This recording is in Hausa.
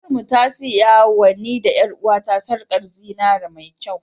Mamar mu ta siyawa ni da ƴar'uwata sarkar zinariya mai kyau.